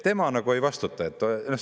Tema nagu ei vastuta?!